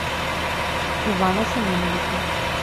ивана семеновича